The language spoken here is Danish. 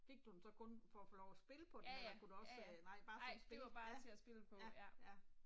Fik du den så kun for at få lov at spille på den? Eller kunne du også øh nej bare for at spille ja. Ja, ja, ja